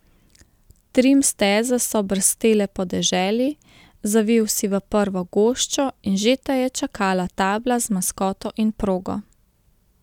Trim steze so brstele po deželi, zavil si v prvo goščo in že te je čakala tabla z maskoto in progo.